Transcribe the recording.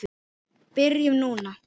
Byrjum núna.